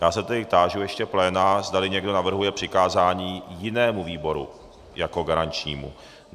Já se tedy táži ještě pléna, zdali někdo navrhuje přikázání jinému výboru jako garančnímu.